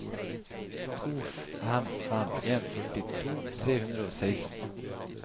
to fem fem en førtito tre hundre og seksten